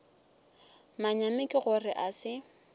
manyami ke gore a se